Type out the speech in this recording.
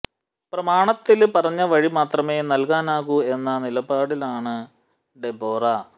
പ്രമാണത്തില് പറഞ്ഞ വഴി മാത്രമേ നല്കാനാകൂ എന്ന നിലപാടിലാണ് ഡെബോറ